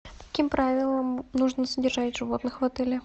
по каким правилам нужно содержать животных в отеле